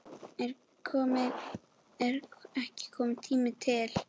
Er ekki kominn tími til?